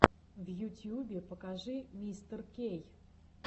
в ютьюбе покажи мистеркей